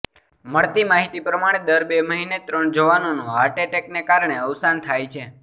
મળતી માહિતી પ્રમાણે દર બે મહિને ત્રણ જવાનોનું હાર્ટએટેકને કારણે અવસાન થાય છે